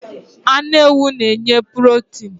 Anu ewu n'nye purotin